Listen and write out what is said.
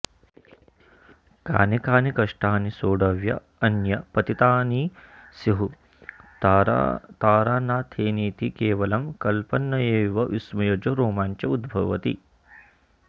कानि कानि कष्टानि सोढव्यान्यापतितानि स्युस्तारानाथेनेति केवलं कल्पनयैव विस्मयजो रोमाञ्च उद्भवति